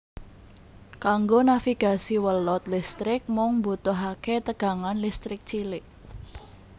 Kanggo navigasi welut listrik mung mbutuhaké tegangan listrik cilik